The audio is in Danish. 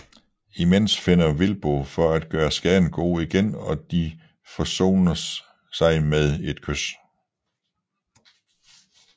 Imens finder Will Bo for at gøre skaden god igen og de forsones sig med et kys